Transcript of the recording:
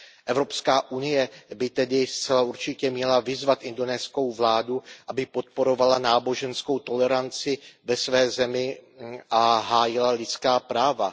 Evropská unie by tedy zcela určitě měla vyzvat indonéskou vládu, aby podporovala náboženskou toleranci ve své zemi a hájila lidská práva.